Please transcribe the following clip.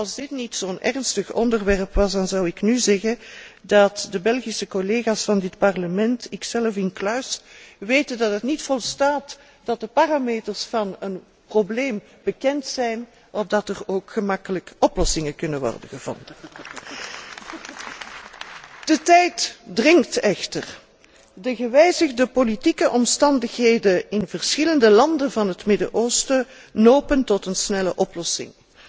Als dit niet zo'n ernstig onderwerp was, zou ik nu zeggen dat de Belgische collega's van dit Parlement, ikzelf incluis, weten dat het niet volstaat dat de parameters van een probleem bekend zijn, opdat er ook gemakkelijk oplossingen kunnen worden gevonden. De tijd dringt echter. De gewijzigde politieke omstandigheden in verschillende landen van het Midden Oosten nopen tot een snelle oplossing,